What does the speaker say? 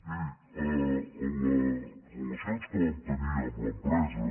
miri les relacions que vam tenir amb l’empresa